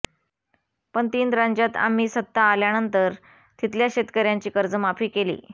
पण तीन राज्यांत आम्ही सत्ता आल्यानंतर तिथल्या शेतकऱ्यांची कर्जमाफी केली